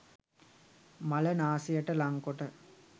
මල නාසයට ලංකොට